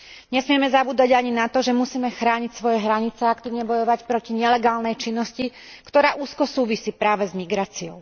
Nesmieme zabúdať ani na to, že musíme chrániť svoje hranice a aktívne bojovať proti nelegálnej činnosti, ktorá úzko súvisí práve s migráciou.